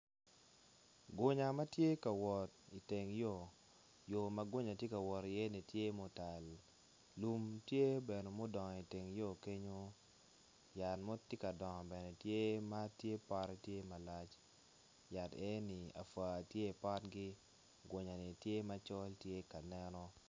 Gunya ma tye ka wot iteng yo yo ma gunya tye ka wot iyeni tye mutal lum tye bene mudongo iteng yo kenyo yat mo tyeka dongo bene tye ma pote tye malac yat enoni apua tye i potgi gonya ni tye macol tye ka neno.